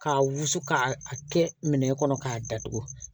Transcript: K'a wusu k'a kɛ minɛn kɔnɔ k'a datugu